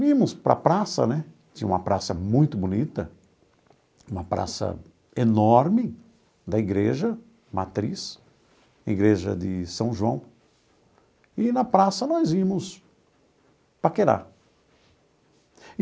Íamos para a praça né, tinha uma praça muito bonita, uma praça enorme da igreja Matriz, igreja de São João, e na praça nós íamos paquerar.